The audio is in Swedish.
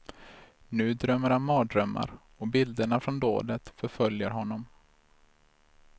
Nu drömmer han mardrömmar och bilderna från dådet förföljer honom.